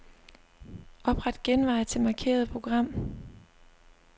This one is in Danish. Opret genvej til markerede program.